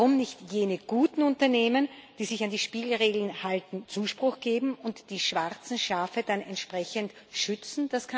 Warum nicht jenen guten Unternehmen, die sich an die Spielregeln halten, Zuspruch geben und die schwarzen Schafe dann entsprechend schützen?